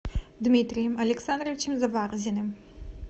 дмитрием александровичем заварзиным